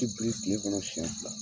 Ti biri kile kɔnɔ siyɛn fila